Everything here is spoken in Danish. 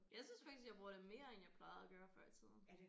Jeg synes faktisk jeg bruger det mere end jeg plejede at gøre før i tiden